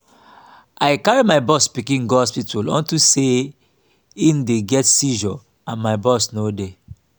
i carry my boss pikin go hospital unto say he dey get seizure and my boss no dey